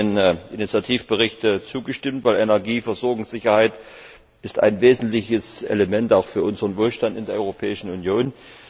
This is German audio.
Auch ich habe dem Initiativbericht zugestimmt, denn Energieversorgungssicherheit ist ein wesentliches Element auch für unseren Wohlstand in der Europäischen Union.